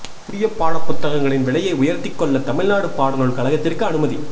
புதிய பாடப் புத்தகங்களின் விலையை உயர்த்தி கொள்ள தமிழ்நாடு பாடநூல் கழகத்திற்கு அனுமதி